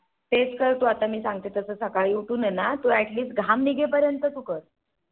तेच कर तू आता मी सांगते तस सकाळी उठून हे ना तू Atleast घाम निघे पर्यंत हे कर.